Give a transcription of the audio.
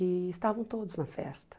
E estavam todos na festa.